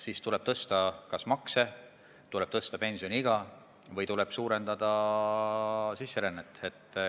Siis tuleb tõsta kas makse või pensioniiga või tuleb suurendada sisserännet.